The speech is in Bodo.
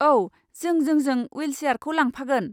औ, जों जोंजों विलसेयारखौ लांफागोन।